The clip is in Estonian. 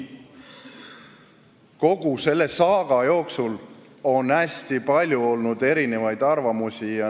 Kogu selle VEB Fondi saaga ajal on olnud hästi palju erinevaid arvamusi.